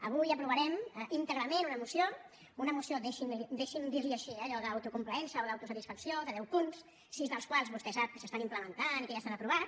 avui aprovarem íntegrament una moció una moció deixi’m dir li ho així eh d’allò d’autocomplaença o d’autosatisfacció de deu punts sis dels quals vostè sap que s’estan implementant i que ja s’han aprovat